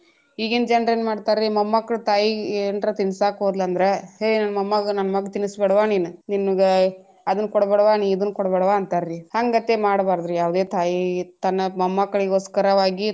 ಈಗಿನ ಜನ್ರೇನ್ ಮಾಡ್ತಾರೀ ಮೊಮ್ಮಕ್ಕಳ್ ತಾಯಿಗೆ ಏನರ ತಿನ್ನಸಾಕ ಹೋದ್ಲ ಅಂದ್ರ ಹೇ ನನ್ನ ಮಗ್ಗ ತಿನಸಬೇಡವಾ ನಿನ ನಿನಗ ಅದನ್ನ ಕೊಡ್ಬೇಡಾವಾ ನೀ ಇದನ್ನ ಕೊಡ್ಬೇಡವಾ ಅಂತರೀ ಹಂಗಂತೆ ಮಾಡಬಾರದರಿ ಯಾವದೆ ತಾಯಿಗ ತನ್ನ ಮೊಮ್ಮಕ್ಕಳಿಗೊಸ್ಕರವಾಗಿ.